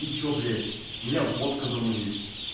и что блять у меня водка дома есть